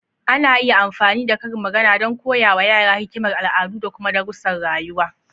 Ana iya amfani da karin magana don koya wa yara hikimar al'adu da kuma darussan rayuwa.